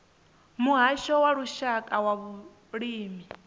muhasho wa lushaka wa vhulimi